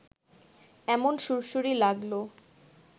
এমন সুড়সুড়ি লাগল